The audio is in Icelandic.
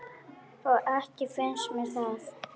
Ekki finnst mér það.